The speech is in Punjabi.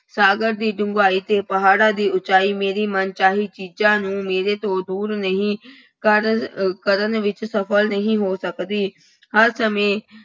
ਸਾਗਰ ਦੀ ਡੂੰਘਾਈ ਅਤੇ ਪਹਾੜਾਂ ਦੀ ਉੱਚਾਈ ਮੇਰੀ ਮਨਚਾਹੀ ਚੀਜ਼ਾਂ ਨੂੰ ਮੇਰੇ ਤੋਂ ਦੂਰ ਨਹੀਂ ਕਰਨ ਅਹ ਕਰਨ ਵਿੱਚ ਸਫਲ ਨਹੀਂ ਹੋ ਸਕਦੀ। ਹਰ ਸਮੇਂ